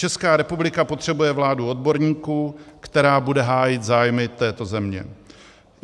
Česká republika potřebuje vládu odborníků, která bude hájit zájmy této země.